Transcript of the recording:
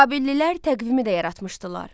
Babillilər təqvimi də yaratmışdılar.